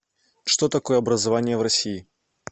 что такое образование в россии